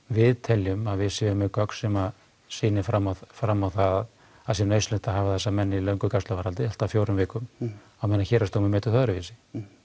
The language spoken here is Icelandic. við teljum að við séum með gögn sem sýni fram á fram á það að það sé nauðsynlegt að hafa þessa menn í löngu gæsluvarðhaldi allt að fjórum vikum á meðan Héraðsdómur metur það öðruvísi